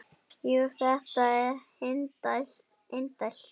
Jú, þetta er indælt